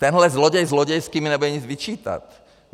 Tenhle zloděj zlodějský mi nebude nic vyčítat.